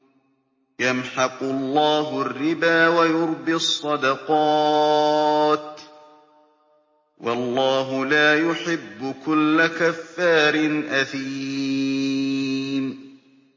يَمْحَقُ اللَّهُ الرِّبَا وَيُرْبِي الصَّدَقَاتِ ۗ وَاللَّهُ لَا يُحِبُّ كُلَّ كَفَّارٍ أَثِيمٍ